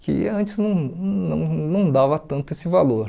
Que antes não não não dava tanto esse valor.